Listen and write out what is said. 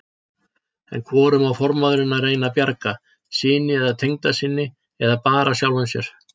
En hvorum á formaðurinn að reyna að bjarga, syni eða tengdasyni, eða bara sjálfum sér?